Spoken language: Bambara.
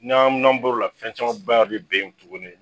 Nan amina boro la fɛn camanba bɛ bɛ yen tugunni.